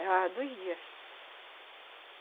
Levava dois dias.